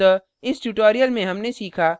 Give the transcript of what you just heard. अतः इस tutorial में हमने सीखा